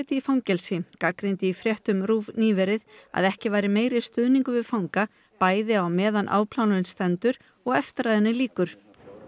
í fangelsi gagnrýndi í fréttum RÚV nýverið að ekki væri meiri stuðningur við fanga bæði meðan á afplánun stendur og eftir að henni lýkur